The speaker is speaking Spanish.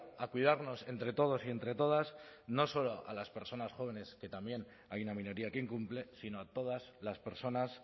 a cuidarnos entre todos y entre todas no solo a las personas jóvenes que también hay una minoría que incumple sino a todas las personas